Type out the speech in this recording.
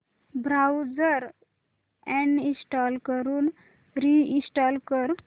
browser uninstall करून reinstall कर